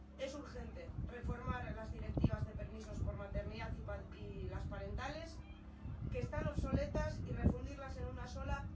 Es urgente reformar las directivas de permisos por maternidad y las parentales que están obsoletas y refundirlas en una sola.